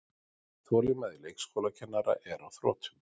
Þolinmæði leikskólakennara er á þrotum